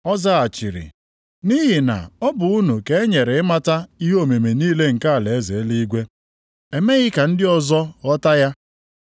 Ọ zaghachiri, “Nʼihi na ọ bụ unu ka e nyere ịmata ihe omimi niile nke alaeze eluigwe. Emeghị ka ndị ọzọ ghọta ya.